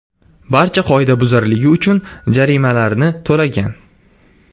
barcha qoidabuzarligi uchun jarimalarni to‘lagan.